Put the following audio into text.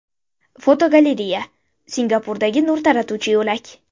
Fotogalereya: Singapurdagi nur taratuvchi yo‘lak.